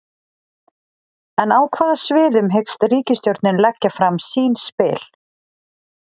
En á hvaða sviðum hyggst ríkisstjórnin leggja fram sín spil?